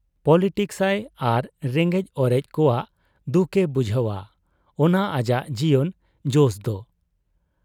Politics ᱟᱭ ᱟᱨ ᱨᱮᱸᱜᱮᱡ ᱚᱨᱮᱡ ᱠᱚᱣᱟᱜ ᱫᱩᱠ ᱮ ᱵᱩᱡᱷᱟᱹᱣ ᱟ, ᱚᱱᱟ ᱟᱡᱟᱜ ᱡᱤᱭᱚᱱ ᱡᱚᱥᱫᱚ ᱾